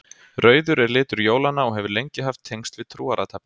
rauður er litur jólanna og hefur lengi haft tengsl við trúarathafnir